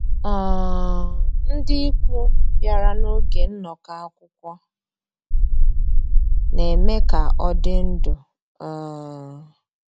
um Ndị́ ìkwù bìàrà n'ògé nnọ́kọ́ àkwụ́kwọ́, ná-èmè ká ọ́ dị́ ndụ́. um